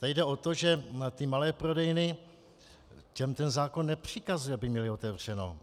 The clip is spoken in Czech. Tady jde o to, že ty malé prodejny, těm ten zákon nepřikazuje, aby měly otevřeno.